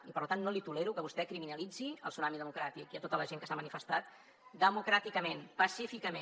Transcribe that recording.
i per tant no li tolero que vostè criminalitzi el tsunami democràtic i tota la gent que s’ha manifestat democràticament pacíficament